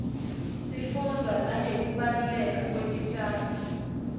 sifunbza nangekubaluleka kwetitjalo